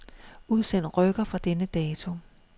Udsend rykker fra denne dato.